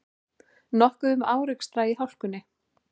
Nokkuð um árekstra í hálkunni